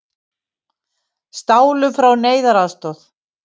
Stálu frá neyðaraðstoð